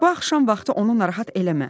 Bu axşam vaxtı onu narahat eləmə.